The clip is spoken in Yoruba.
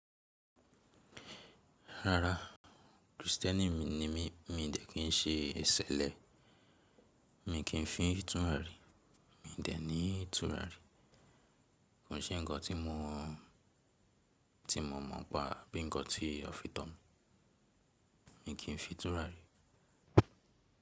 Rara, Kristẹni mi ni mí, mi dẹ̀ kín ṣe ìṣẹ̀lẹ̀, mi kì í fin turari, mi dẹ̀ ní turari. Kin ṣé ǹkan ti mo tí mo mọ̀ n pa bí ǹkan tí a fi tọ́ mi, mi kì n fi n túràrí.